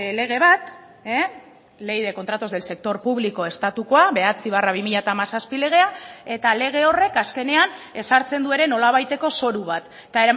lege bat ley de contratos del sector público estatukoa bederatzi barra bi mila hamazazpi legea eta lege horrek azkenean ezartzen du ere nolabaiteko zoru bat eta